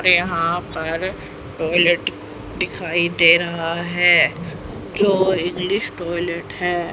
यहां पर टॉयलेट दिखाई दे रहा है जो इंग्लिश टॉयलेट है।